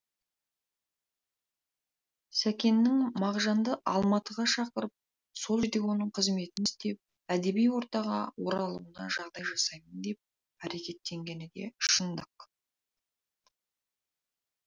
сәкеннің мағжанды алматыға шақырып сол жерде оның қызмет істеп әдеби ортаға оралуына жағдай жасаймын деп әрекеттенгені де шындық